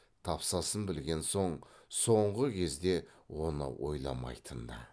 тапсасын білген соң соңғы кезде оны ойламайтын да